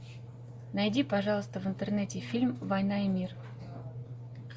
найди пожалуйста в интернете фильм война и мир